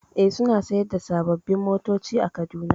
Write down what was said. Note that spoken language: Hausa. E, suna sayar da sababbin motoci a Kaduna.